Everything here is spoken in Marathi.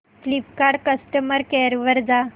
फ्लिपकार्ट कस्टमर केअर वर जा